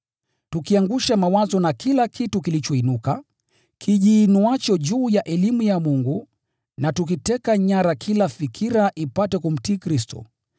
tukiangusha mawazo na kila kitu kilichoinuka, kijiinuacho juu ya elimu ya Mungu, na tukiteka nyara kila fikira ipate kumtii Kristo,